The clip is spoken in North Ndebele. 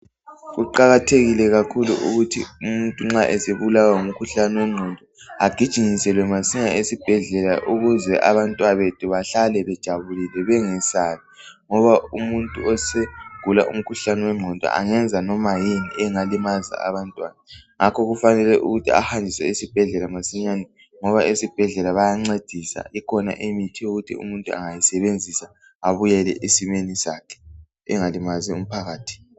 Kuqakathekile kakhulu ukuthi umuntu nxa esebulawa ngumkhuhlane wengqondo agijinyiselwe masinya esibhedlela ukuze abantwabethu behlale bejabulile bengesabi ngoba umuntu osegula umkhuhlane wengqondo engenza noma yini engalimaza abantwana ngakho kufanele ukuthi ahanjiswe esibhedlela masinyane ngoba esibhedlela bayancedisa ikhona imithi yokuthi umuntu engayisebenzisa ebuyele esimeni sakhe engalimazi umphakathi.